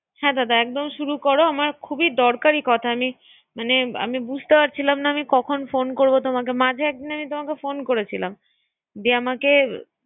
হ্যা দাদা একদম শুরু কর আমার খুবই দরকারী কথা আমি মানে। আমি বুঝতে পারছিলাম না কখন ফোন করব তোমাকে মাঝে একদিন আমি তোমাকে ফোন করছিলাম। যে আমাকে